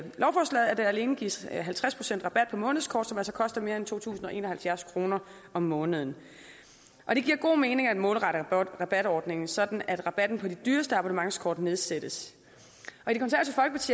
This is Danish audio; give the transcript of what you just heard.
der alene gives halvtreds procent rabat på månedskort som koster mere end to tusind og en og halvfjerds kroner om måneden og det giver god mening at målrette rabatordningen sådan at rabatten på de dyreste abonnementskort nedsættes